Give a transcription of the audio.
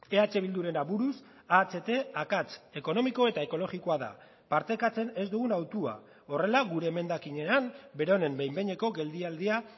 eh bilduren aburuz aht akats ekonomiko eta ekologikoa da partekatzen ez dugun hautua horrela gure emendakinean beronen behin behineko geldialdia